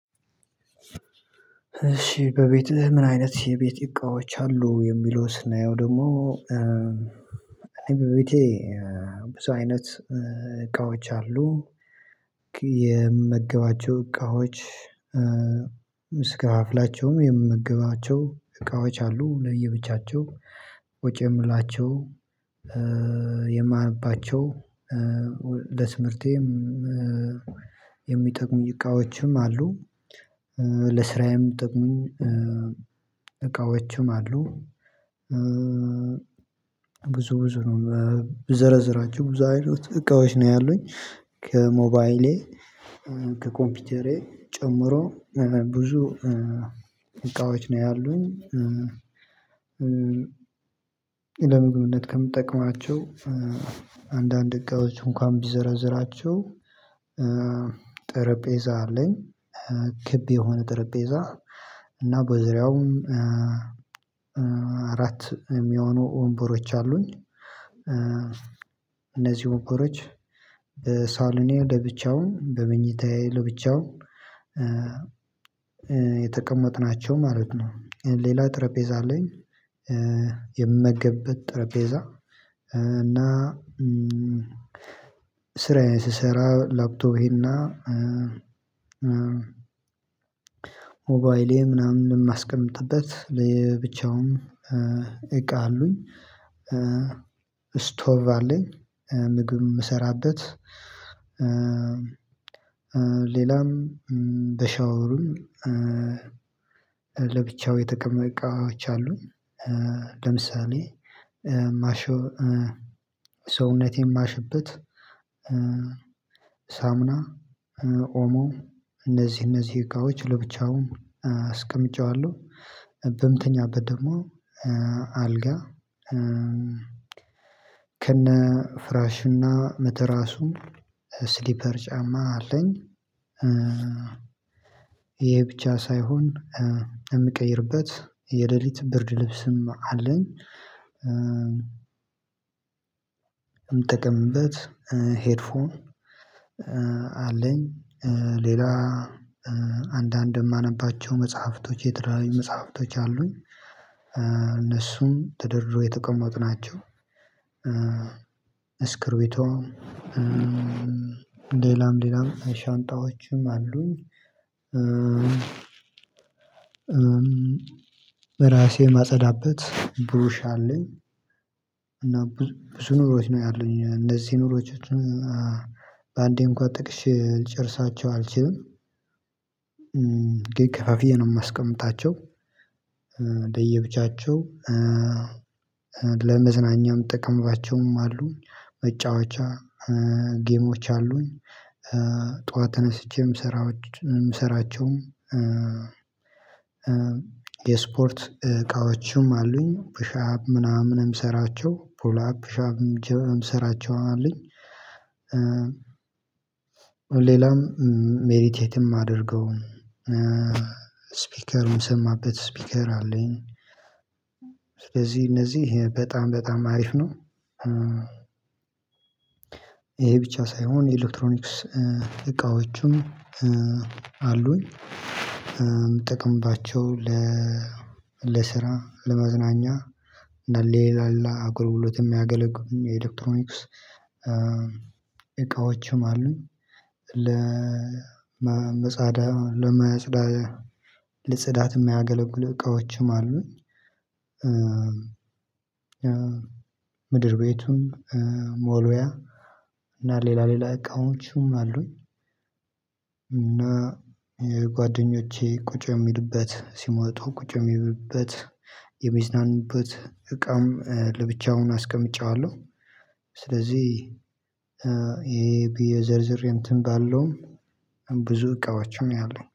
እሺ በቤትህ ምን? አይነት የቤት እቃዎች አሉ የሚለውን ስናየው ደሞ። እኔ በቤቴ ብዙ አይነት እቃዎች አሉ። የምመገባቸው እቃዎች። ምስጋፍላቸውም የምመገባቸው እቃዎች አሉ። ለየብቻቸው ወጪ የምላቸው። የማነባቸው ለትምርቴም የሚጠቅሙኝ እቃዎችም አሉ። ለስራዬም እሚጠቅሙኝ እቃዎቹም አሉ። ብዙ ብዙ ነው ብዘረዝራቸው ብዙ አይነት እቃዎች ነው ያሉኝ። ከሞባይሌ ከኮምፒውተሬ ጨምሮ ብዙ እቃዎች ነው ያሉኝ። ለምግብነት ከምጠቀማቸው አንዳንድ እቃዎች እንኳን ቢዘረዝራቸው። ጠረጴዛ አለኝ። ክብ የሆነ ጠረጴዛ እና በዙሪያውም አራት እሚሆኑ ወንበሮች አሉኝ። እነዚህ ወንበሮች በሳሎኔ ለብቻውን በመኝታዬ ለብቻው የተቀመጥናቸው ማለት ነው። ሌላ ጠረጴዛ አለኝ። የምመገብበት ጠረጴዛ እና ስራዬን ስሰራ ላፕቶቤና ሞባይሌ ምናምን እማስቀምጥበት ብቻውን እቃ አሉኝ። እስቶቭ አለኝ ምግብ እምሰራበት። ሌላም በሻወሩም ለብቻው የተቀመ እቃዎች አሉን። ለምሳሌ ማሻው ሰውነቴን ማሽበት ሳምና ኦሞ እነዚህ እነዚህ እቃዎች ለብቻው አስቀምጨዋለሁ። በምተኛበት ደግሞ አልጋ ከነ ፍራሽና መተራሱ ስሊፐር ጫማ አለኝ። ይሄ ብቻ ሳይሆን የምቀይርበት የሌሊት ብርድ ልብስም አለኝ። እምጠቀምበት ሄድ ፎን አለኝ። ሌላ አንዳንድ እማነባቸው መጽሐፍቶች የተለያዩ መጽሐፍቶች አሉኝ። እነሱም ተደርድሮ የተቀመጡ ናቸው። እስክሪቢቶ ሌላም ሌላም ሻንጣዎችም አሉኝ። ራሴ እማጸዳበት ብሩሽ አለኝ። እና ብዙ ነገሮች ነው ያሉኝ እነዚህ ሲነሮቻችን በአንዴ እንኳን ጠቅሼ ልጨርሳቸው አልችልም። ግን ከፋፍዬ ነው እማስቀምጣቸው። ለየብቻቸው ለመዝናኛም እምጠቀምባቸውም አሉኝ መጫወቻ ጌሞች አሉኝ። ጠዋት ተነስቼም እምሰራ እምሰራቸውም የስፖርት እቃዎችም አሉኝ። ፑሽ አፕ ምናምን እምሰራቸው ፑል አፕ ምናምን እምሰራቸው አሉኝ። ሌላም ሜዲቴትም እማደርገው እስፒከ እምሰማበት ስፒከር አለኝ። እዚህ እነዚህ በጣም በጣም አሪፍ ነው። ይሄ ብቻ ሳይሆን የኤሌክትሮኒክስ እቃዎቹም አሉኝ እምጠቀምባቸው ለ ለስራ ለመዝናኛ እና ለሌላ ሌላ አገልግሎት እሚያገለጉሉኝ የኤሌክትሮኒክስ እቃዎችም አሉኝ። ለመጻዳ ለመጽዳ ለጽዳት እሚያገለግሉ እቃዎችም አሉኝ። ምድር ቤቱን መወልወያ እና ሌላ ሌላ እቃዎቹም አሉኝ። እና የጓደኞቼ ቁጭ እሚሉበት ሲመጡ ቁጭ እሚሉበት የሚዝናኑበት እቃም ለብቻውን አስቀምጬዋለሁ። ስለዚህ የ ብየ ዘርዝሬ እንትን ባልለውም ብዙ እቃዋች ነው ያሉኘ